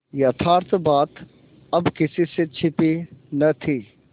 यथार्थ बात अब किसी से छिपी न थी